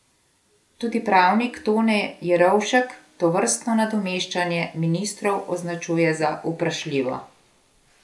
Tudi pravnik Tone Jerovšek tovrstno nadomeščanje ministrov označuje za vprašljivo.